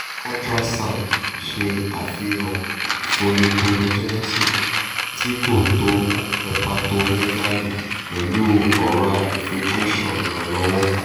ultrasound ṣe afihan folliculogenesis ti ko tọ hepatomegaly pẹlu ora infiltration ìrànlọ́wọ́?